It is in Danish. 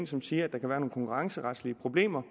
som siger at der kan være nogle konkurrenceretlige problemer